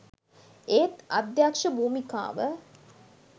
ඒත් අධ්‍යක්ෂ භූමිකාව